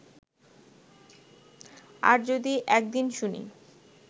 আর যদি একদিন শুনি